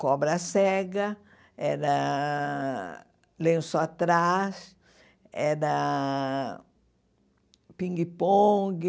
Cobra cega, era lenço atrás, era pingue-pongue,